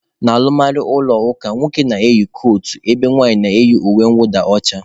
N'alụmalụ ụlọ ụka, nwoke na-eyi kotu ebe nwaanyị na-eyi uwe nwụda ọcha.